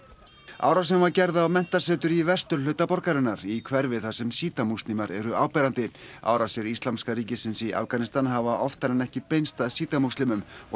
árásin var gerð á menntasetur í vesturhluta borgarinnar í hverfi þar sem Síta múslimar eru áberandi árásir Íslamska ríkisins í Afganistan hafa oftar en ekki beinst að Síta múslimum og